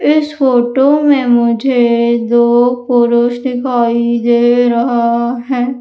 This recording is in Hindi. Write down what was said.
इस फोटो में मुझे दो पुरुष दिखाई दे रहा है।